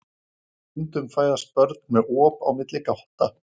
Stundum fæðast börn með op á milli gátta.